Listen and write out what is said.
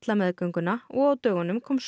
meðgönguna og á dögunum kom svo